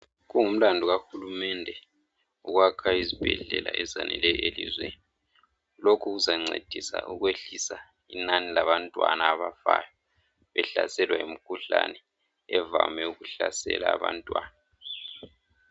Kungumlandu kahulumende ukwakha izibhedlela ezaneleyo elizweni lokhu kuzancedisa ukwehlisa inani labantwana abafayo behlaselwa yimkhuhlane evame ukuhlasela abantwana.